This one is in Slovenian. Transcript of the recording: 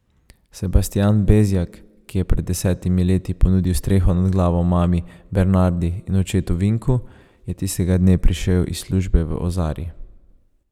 Sebastijan Bezjak, ki je pred desetimi leti ponudil streho nad glavo mami Bernardi in očetu Vinku, je tistega dne prišel iz službe v Ozari.